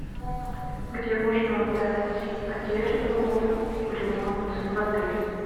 где можно отдать одежду в ремонт в отеле